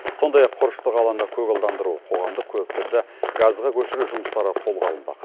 сондай ақ құрышты қаланы көгалдандыру қоғамдық көліктерді газға көшіру жұмыстары қолға алынбақ